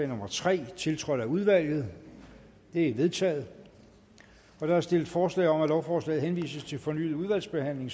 nummer tre tiltrådt af udvalget det er vedtaget der er stillet forslag om at lovforslaget henvises til fornyet udvalgsbehandling